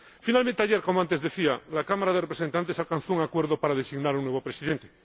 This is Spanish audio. Finalmente ayer, como antes decía, el Consejo de Representantes alcanzó un acuerdo para designar a un nuevo Presidente.